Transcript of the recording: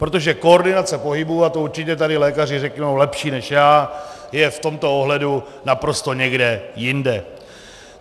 Protože koordinace pohybu, a to určitě tady lékaři řeknou lepší než já, je v tomto ohledu naprosto někde jinde.